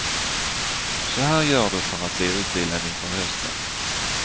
Så här gör du för att bli utvilad inför hösten.